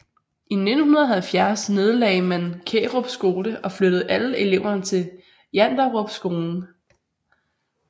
I 1970 nedlagde man Kærup skole og flyttede alle eleverne til Janderup skolen